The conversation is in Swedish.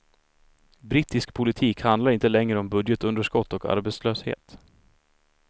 Brittisk politik handlar inte längre om budgetunderskott och arbetslöshet.